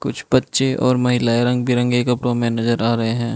कुछ बच्चे और महिलाएं रंग बिरंगे कपड़ों में नजर आ रहें हैं।